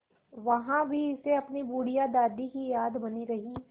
वहाँ भी इसे अपनी बुढ़िया दादी की याद बनी रही